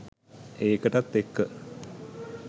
ඒකටත් එක්ක